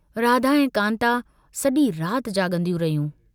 राधा ऐं कान्ता सजी रात जाग॒दियूं रहियूं।